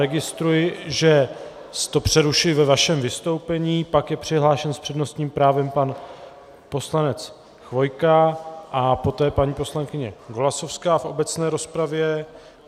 Registruji, že to přerušuji ve vašem vystoupení, pak je přihlášen s přednostním právem pan poslanec Chvojka a poté paní poslankyně Golasowská v obecné rozpravě.